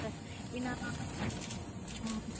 இன்னொன்னு ஆமா sister